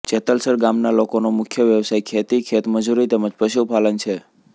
જેતલસર ગામના લોકોનો મુખ્ય વ્યવસાય ખેતી ખેતમજૂરી તેમ જ પશુપાલન છે